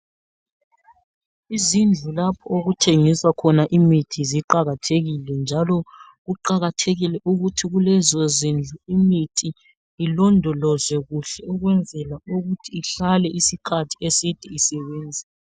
Izindlu lapho okuthengiswa khona imithi ziqakathekile njalo, kuqakathekile ukuthi kulezozindlu imithi ilondolozwe kuhle ukwenzela ukuthi ihlale isikhathi eside isebenza.